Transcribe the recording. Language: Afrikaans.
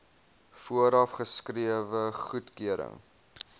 vooraf geskrewe goedkeuring